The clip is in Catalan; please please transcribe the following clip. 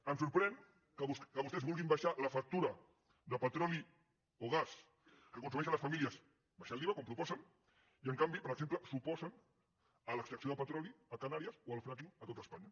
em sorprèn que vostès vulguin abaixar la factura de petroli o gas que consumeixen les famílies abaixant l’iva com proposen i en canvi per exemple s’oposen a l’extracció de petroli a canàries o al fracking a tot espanya